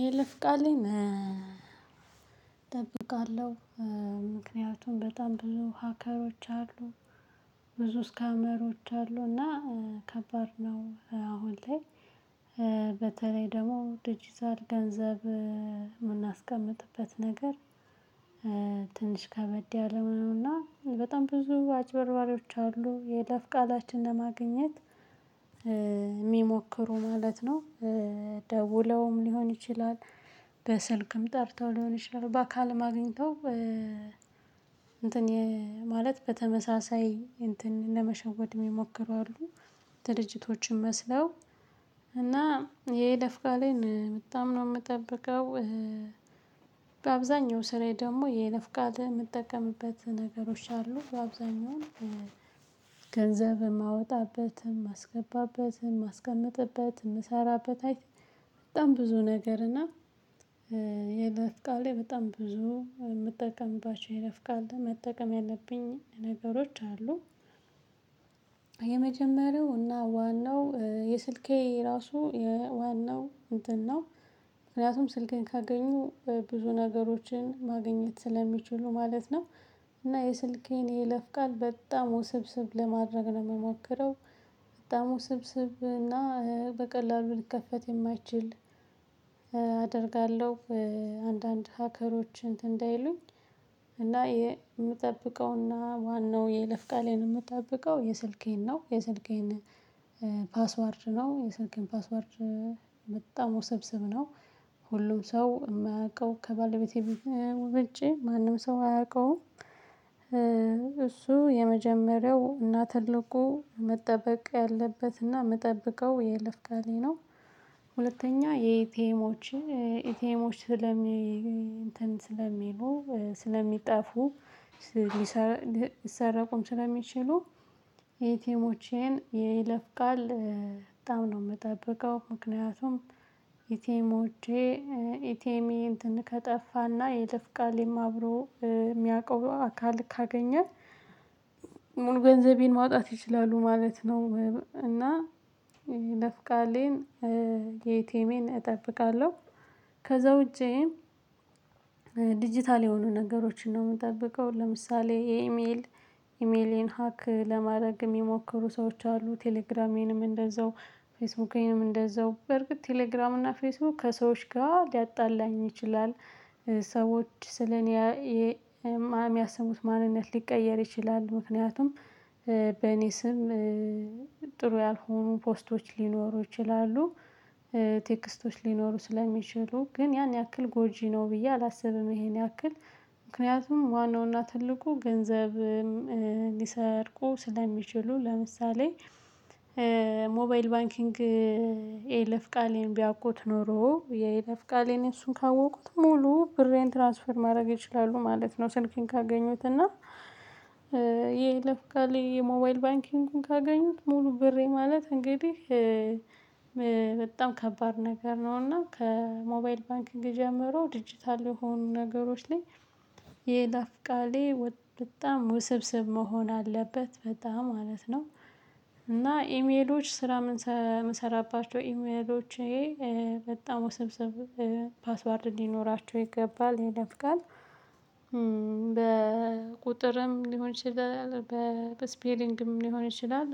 የይለፍ ቃል እጠብቃለሁ። ምክንያቱም በጣም ብዙ ሀከሮች አሉ። ብዙ ስካመሮች አሉ እና ከባድ ነው አሁን ላይ። በተለይ ደግሞ ደጂጣል ገንዘብ የምናስቀምጥበት ነገር። ትንሽ ከበድ ያለ ነው እና በጣም ብዙ አጭበርባሪዎች አሉ የይለፍ ቃላችንን ለማግኘት የሚሞክሩ ማለት ነው። ደውለውም ሊሆን ይችላል። በስልክም ጠርተው ሊሆን ይችላል በአካልም አግኝተው እንትን ማለት በተመሳሳይ እንትን ለመሸወድ የሚሞክሩ አሉ። ድርጅቶችም መስለው እና የይለፍ ቃሌን በጣም ነው የምጠብቀው። በአብዛኛው ስራዬ ደግሞ የይለፍ ቃሌን የምጠቀምበት ነገሮች አሉ በአብዛኛው ገንዘብ የማወጣበትም የማስገባበትም የማስቀምጥበትም የምሰራበት አይት። በጣም ብዙ ነገር እና የይለፍ ቃሌን በጣም ብዙ የምጠቀምባቸው የይለፍ ቃሌን መጠቀም ያለብኝ ነገሮች አሉ። የመጀመሪያው እና ዋናው የስልኬ ራሱ የዋናው እንትን ነው። ምክንያቱም ስልክን ካገኙ ብዙ ነገሮችን ማግኘት ስለሚችሉ ማለት ነው። እና የስልኬን የይለፍ ቃል በጣም ውስብስብ ለማድረግ ነው የምሞከረው የሚሞክረው በጣም ውስብስብ እና በቀላሉ ልከፈት የማይችል አደርጋለሁ። አንዳንድ ሀከሮች እንትን እንዳይሉኝ። እና የምጠብቀውና ዋናው የይለፍ ቃሌን የምትጠብቀው የስልኬን ነው የስልኬን ፓስወርድ ነው የስልኬን ፓስዋርድ በጣም ውሰብሰብ ነው። ሁሉም ሰው የማያውቀው ከባለቤቴ ውጪ ማንም ሰው አያውቀውም። እሱ የመጀመሪያው እና ትልቁ መጠበቅ ያለበትና የምጠብቀው የይለፍ ቃሌን ነው። ሁለተኛ የኢቲኤሞች ኢቲኤሞች ስለሚ እንትን ስለሚሉ ስለሚጠፉ ሊሰረቁም ስለሚችሉ የኢቴሞቼን የይለፍ ቃል በጣም ነው የምጠብቀው ምክንያቱም ኢቲሞቼ ኢቲኤም ይሄን ከጠፋና የይለፍ ቃሌም አብሮ የሚያውቀው አካል ካገኘ። ሙሉ ገንዘቤን ማውጣት ይችላሉ ማለት ነው። እና የይለፍ ቃሌን የኢቴሜን እጠብቃለሁ። ከዛ ውጪ። ዲጂታል የሆኑ ነገሮችን ነው የምጠብቀው ለምሳሌ ኢሜል ኢሜሌን ሀክ ለማድረግ የሚሞክሩ ሰዎች አሉ። ቴሌግራሜንም እንደዛው ፌስቡኬንም እንደዛው በርግጥ ቴሌግራም እና ፌስቡክ ከሰዎች ጋር ሊያጣላኝ ይችላል። ሰዎች ስለኔ የሚያስቡት ማንነት ሊቀየር ይችላል ምክንያቱም በኔ ስም ጥሩ ያልሆኑ ፖስቶች ሊኖሩ ይችላሉ። ቴክስቶች ሊኖሩ ስለሚችሉ ግን ያን ያክል ጎጂ ነው ብዬ አላስብም። ይሄን ያክል ምክንያቱም ዋናውና ትልቁ ገንዘብ ሊሰርቁ ስለሚችሉ ለምሳሌ ሞባይል ባንኪንግ የይለፍ ቃሌን ቢያውቁት ኖሮ የይለፍ ቃሌን እሱን ካወቁት ሙሉ ብሬን ትራንስፈር ማድረግ ይችላሉ ማለት ነው። ስልኬን ካገኙት እና ይሄ የይለፍ ቃሌ የሞባይል ባንኪንግን ካገኙት ሙሉ ብሬ ማለት እንግዲህ በጣም ከባድ ነገር ነው። እና ከሞባይል ባንክ ጀምሮ ዲጂታል የሆኑ ነገሮች ላይ የይለፍ ቃሌን በጣም ውስብስብ መሆን አለበት በጣም ማለት ነው። እና ኢሜሎች ስራ የምሰራባቸው ኢሜሎቼ በጣም ውስብስብ ፓስዋርድ እንዲኖራቸው ይገባል የይለፍ ቃሌ። በቁጥርም ሊሆን ይችላል በስፔሊንግም ሊሆን ይችላል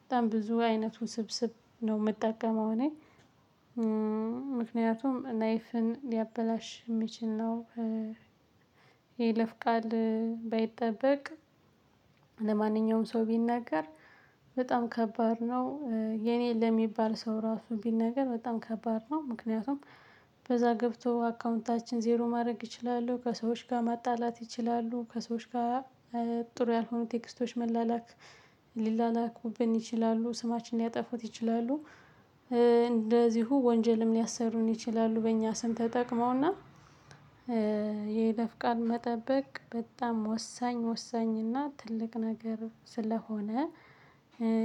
በጣም ብዙ አይነት ውስብስብ ነው የምጠቀመው እኔ ምክንያቱም ላይፍን ሊያበላሽ የሚችል ነው። የይለፍ ቃል ባይጠበቅ ለማንኛውም ሰው ቢናገር በጣም ከባድ ነው። የኔን ለሚባል ሰው ራሱ ቢል ነገር በጣም ከባድ ነው። ምክንያቱም በዛ ገብቶ አካውንታችን ዜሮ ማድረግ ይችላሉ ከሰዎች ጋር ማጣላት ይችላሉ ከሰዎች ጋር ጥሩ ያልሆኑ ቴክስቶች መላላክ ሊላላኩብን ይችላሉ ስማችንን ሊያጠፉት ይችላሉ። እንደዚሁ ወንጀልም ሊያሰሩን ይችላሉ በእኛ ስም ተጠቅመውና የይለፍ ቃልን መጠበቅ በጣም ወሳኝ ወሳኝና ትልቅ ነገር ስለሆነ።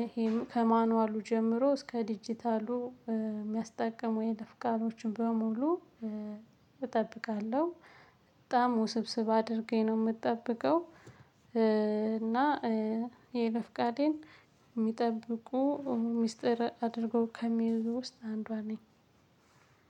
ይሄም ከማኑዋሉ ጀምሮ እስከ ዲጂታሉ የሚያስጠቅሙ የይለፍ ቃሎችን በሙሉ እጠብቃለሁ። በጣም ውስብስብ አድርጌ ነው የምትጠብቀው። እና የይለፍ ቃሌን የሚጠብቁ ሚስጥር አድርጎ ከሚይዙ ውስጥ አንዷ ነኝ።